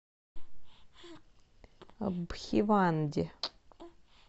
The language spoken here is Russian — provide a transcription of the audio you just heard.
бхиванди